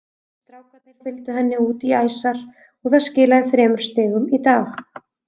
Strákarnir fylgdu henni út í æsar og það skilaði þremur stigum í dag.